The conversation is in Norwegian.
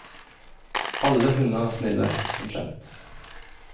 Alle hunder er snille, som kjent.